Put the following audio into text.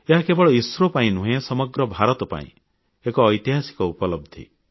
ଏହା କେବଳ ଇସ୍ରୋ ପାଇଁ ନୁହେଁ ସମଗ୍ର ଭାରତ ପାଇଁ ଏକ ଐତିହାସିକ ଉପଲବଧି